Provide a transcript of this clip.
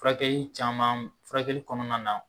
Furakɛ caman furakɛli kɔnɔna na